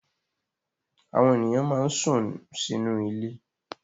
Àwọn ènìyàn máa ń sún sínú ilé